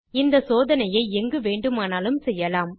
இந்த சோதனையை எங்கு வேண்டுமானாலும் செய்யலாம்